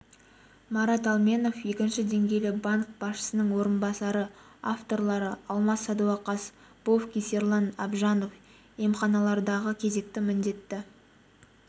марат алменов екінші деңгейлі банк басшысының орынбасары авторлары алмас садуақас бовкис ерлан абжанов емханалардағы кезекті міндетті